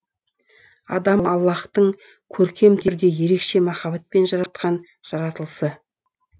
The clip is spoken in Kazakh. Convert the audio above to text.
адам аллаһтың көркем түрде ерекше махаббатпен жаратқан жаратылысы